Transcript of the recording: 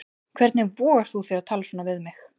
Hvernig vogar þú þér að tala svona við mig.